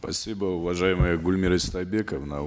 спасибо уважаемая гульмира истайбековна